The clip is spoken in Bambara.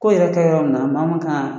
Ko yɛrɛ kɛ yɔrɔ min na ma makan